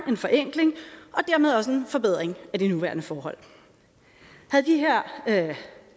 en forenkling og dermed også en forbedring af de nuværende forhold havde de her